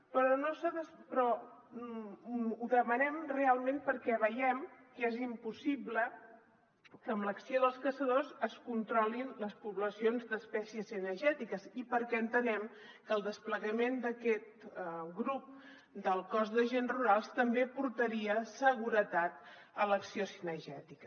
però ho demanem realment perquè veiem que és impossible que amb l’acció dels caçadors es controlin les poblacions d’es·pècies cinegètiques i perquè entenem que el desplegament d’aquest grup del cos d’agents rurals també aportaria seguretat a l’acció cinegètica